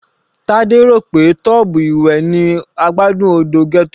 Tade rò pé tub ìwẹ̀ ni adágún odò ghetto.